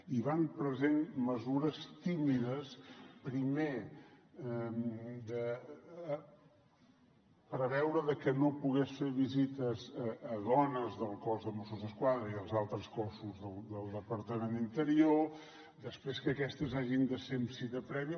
i van prenent mesures tímides primer de preveure que no pogués fer visites a dones del cos de mossos d’esquadra i als altres cossos del departament d’interior després que aquestes hagin de ser amb cita prèvia